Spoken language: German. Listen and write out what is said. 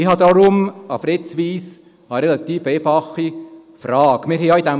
Deshalb habe ich eine relativ einfach Frage an Fritz Wyss.